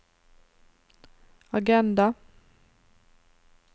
agenda